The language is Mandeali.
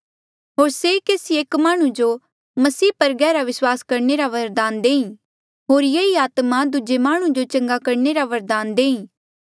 होर से केसी एक माह्णुं जो मसीह पर गहरा विस्वास करणे रा बरदान देईं होर ये ही आत्मा दूजे माह्णुं जो चंगा करणे रा बरदान देईं